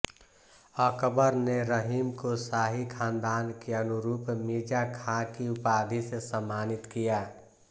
अकबर ने रहीम को शाही खानदान के अनुरुप मिर्जा खाँ की उपाधि से सम्मानित किया